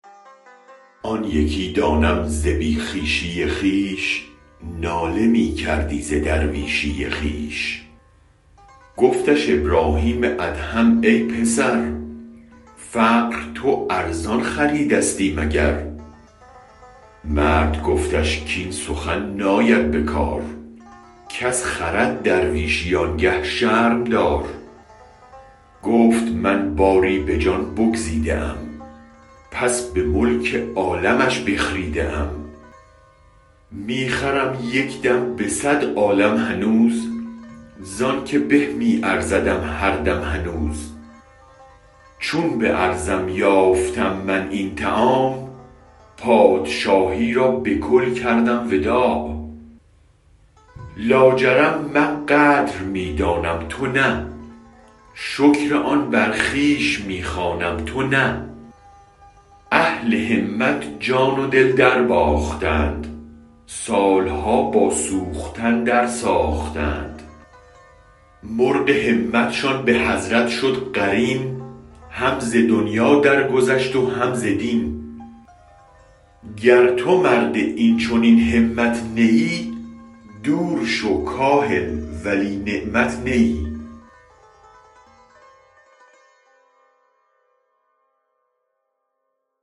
آن یکی دایم ز بی خویشی خویش ناله می کردی ز درویشی خویش گفتش ابرهیم ادهم ای پسر فقر تو ارزان خریدستی مگر مرد گفتش کاین سخن ناید به کار کس خرد درویشی آنگه شرم دار گفت من باری به جان بگزیده ام پس به ملک عالمش بخریده ام می خرم یک دم به صد عالم هنوز زانک به می ارزدم هر دم هنوز چون به ارزم یافتم من این متاع پادشاهی را به کل کردم وداع لاجرم من قدر می دانم تو نه شکر آن برخویش می خوانم تو نه اهل همت جان و دل درباختند سالها با سوختن در ساختند مرغ همتشان به حضرت شد قرین هم ز دنیا در گذشت و هم ز دین گر تو مرد این چنین همت نه ای دور شو کاهل ولی نعمت نه ای